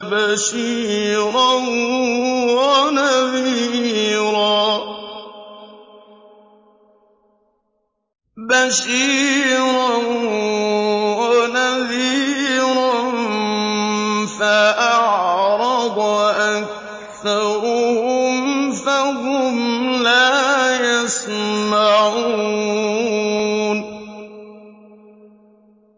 بَشِيرًا وَنَذِيرًا فَأَعْرَضَ أَكْثَرُهُمْ فَهُمْ لَا يَسْمَعُونَ